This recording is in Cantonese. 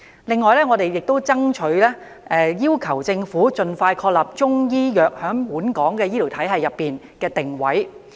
此外，我們亦爭取要求政府盡快確立中醫藥在本港醫療體系的定位。